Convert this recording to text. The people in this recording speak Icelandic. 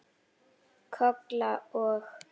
Kolla og